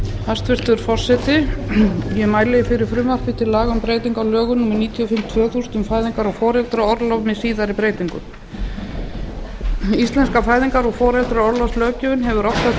hæstvirtur forseti ég mæli fyrir frumvarpi til laga um breytingu á lögum númer níutíu og fimm tvö þúsund um fæðingar og foreldraorlof með síðari breytingum íslenska fæðingar og foreldraorlofslöggjöfin hefur oft og tíðum hlotið